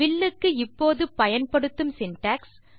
வில்லுக்கு இப்போது பயன்படுத்தும் சின்டாக்ஸ்